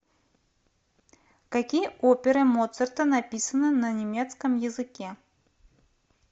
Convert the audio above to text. какие оперы моцарта написаны на немецком языке